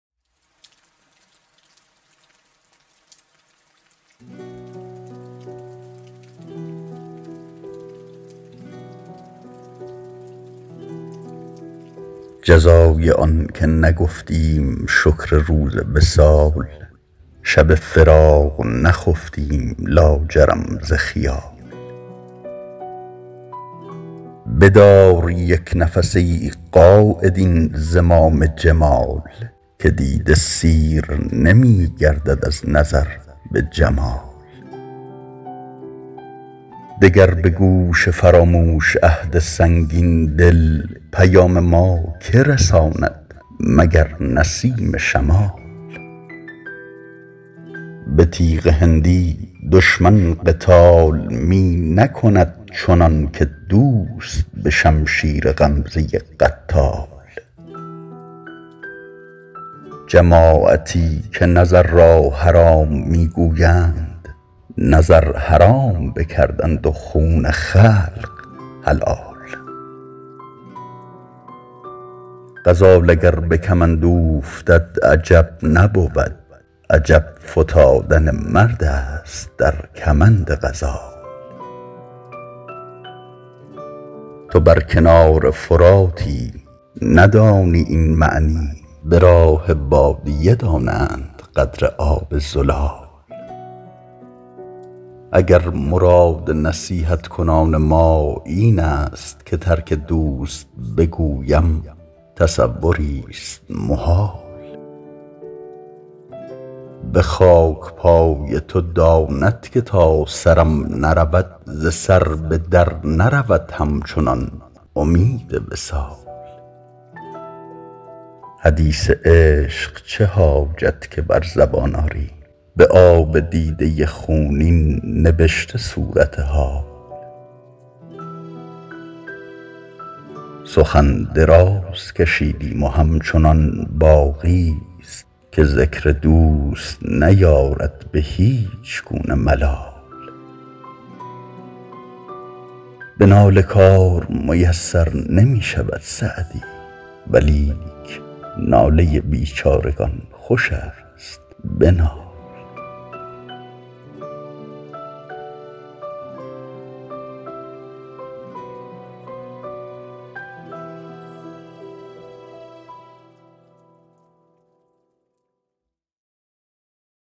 جزای آن که نگفتیم شکر روز وصال شب فراق نخفتیم لاجرم ز خیال بدار یک نفس ای قاید این زمام جمال که دیده سیر نمی گردد از نظر به جمال دگر به گوش فراموش عهد سنگین دل پیام ما که رساند مگر نسیم شمال به تیغ هندی دشمن قتال می نکند چنان که دوست به شمشیر غمزه قتال جماعتی که نظر را حرام می گویند نظر حرام بکردند و خون خلق حلال غزال اگر به کمند اوفتد عجب نبود عجب فتادن مرد است در کمند غزال تو بر کنار فراتی ندانی این معنی به راه بادیه دانند قدر آب زلال اگر مراد نصیحت کنان ما این است که ترک دوست بگویم تصوریست محال به خاک پای تو داند که تا سرم نرود ز سر به در نرود همچنان امید وصال حدیث عشق چه حاجت که بر زبان آری به آب دیده خونین نبشته صورت حال سخن دراز کشیدیم و همچنان باقیست که ذکر دوست نیارد به هیچ گونه ملال به ناله کار میسر نمی شود سعدی ولیک ناله بیچارگان خوش است بنال